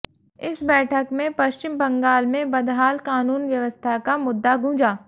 इस बैठक में पश्चिम बंगाल में बहदाल कानून व्यवस्था का मुद्दा गूंजा